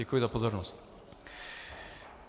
Děkuji za pozornost.